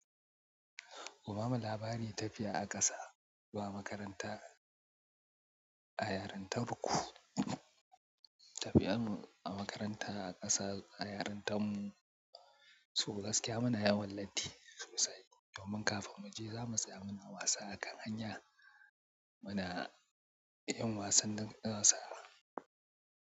Ku bamu labari tafiya a ƙasa zuwa makaranta a yarintar ku. Tafiyar mu a makaranta a ƙasa a yarintar mu, su gaskiya mana yawon latti sosai. Yawan kafin mu je za mu tsaya muna wasa a kan hanya. Muna yin wasan darasa.